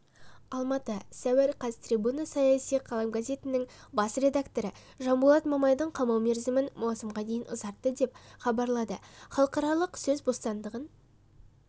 алматы сәуір қаз трибуна саяси қалам газетінің бас редакторы жанболат мамайдың қамау мерзімін маусымға дейін ұзартты деп хабарлады халықаралық сөз бостандығын